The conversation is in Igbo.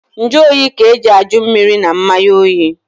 Njụoyi ka eji ajụ mmiri na mmanya oyi.